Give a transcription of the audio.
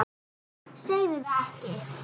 Segðu það ekki